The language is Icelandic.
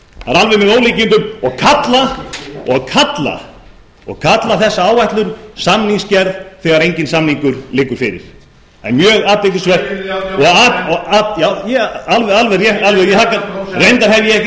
það er alveg með ólíkindum og kalla þessa áætlun samningsgerð þegar enginn samningur liggur fyrir það er mjög athyglisvert já alveg rétt reyndar hef ég ekki séð þennan samning